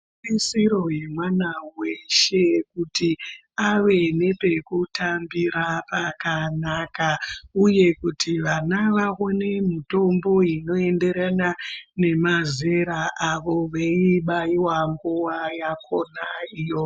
Itarisiro yemwana weshe kuti ave nepekutambira pakanaka uye kuti vana vaone mitombo inoenderana nemazera avo, veiibaiwawo nguva yakhona iyoyo.